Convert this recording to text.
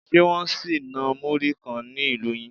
Ṣe Wọ́n sì ń ná múrí kan ni ilu yín?